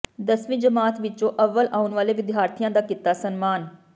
ਦਸਵੀਂ ਜਮਾਤ ਵਿੱਚੋਂ ਅੱਵਲ ਆਉਣ ਵਾਲੇ ਵਿਦਿਆਰਥੀਆਂ ਦਾ ਕੀਤਾ ਸਨਮਾਨ